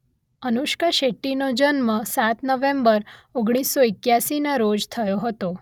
અનુષ્કા શેટ્ટી નો જન્મ સાત નવેમ્બર ઓગણીસ સો એક્યાસીના રોજ થયો હતો